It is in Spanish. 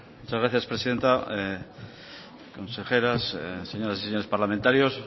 muchas gracias presidenta consejeras señoras y señores parlamentarios